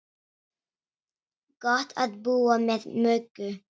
Gott að búa með Möggu.